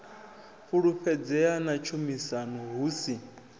fhulufhedzea na tshumisano hu si